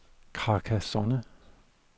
Carcassonne